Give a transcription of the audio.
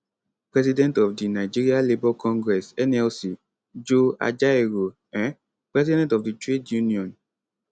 president of di nigeria labour congress nlc joe ajaero um president of di trade union